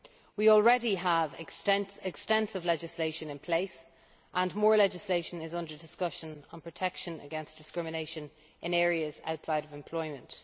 We already have extensive legislation in place, and more legislation is under discussion on protection against discrimination in areas outside of employment.